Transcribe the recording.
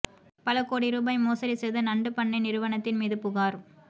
பல கோடி ரூபாய் மோசடி செய்த நண்டு பண்ணை நிறுவனத்தின் மீது புகார்